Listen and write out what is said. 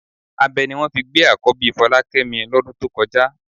Abẹ ni wọ́n fi gbé àkọ́bí Fọlákẹ́mi lọ́dún tó kọjá